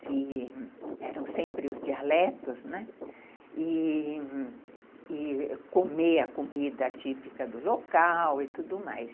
que eram sempre os dialetos, né, e e comer a comida típica do local e tudo mais.